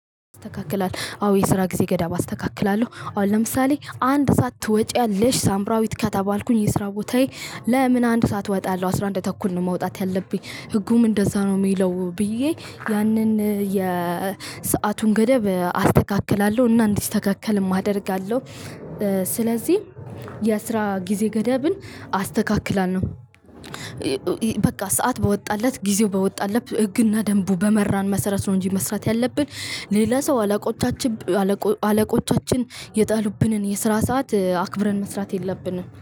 አስተካክላለሁ አዎ የስራ ጊዜ ገዳብ አስተካክላለሁ አሁን ለምሳሌ አንድ ሰዓት ትወጪያለሽ ሳምራዊት ከተባልኩኝ የስራ ቦታዬ ለምን አንድ ሰዓት እወጣለሁ። አስራ አንድ ተኩል ነው። መውጣት ያለብኝ ህጉም እንደዛ ነው። የሚለው ብዬ ያንን የሰአቱን ገደብ አስተካክላለሁ እና እንዲስተካከልም አደርጋለሁ። ስለዚህ የስራ ጊዜ ገደብን አስተካክላለሁ። በቃ ሰዓት በወጣለት ጊዜው በወጣለት ህግና ደንቡ በመራን መሰረት ነው። እንጂ መስራት ያለብን ሌላ ሰው አለቆቻችን አለቆቻችን የጣሉብንን የስራ ሰዓት አክብረን መስራት የለብንም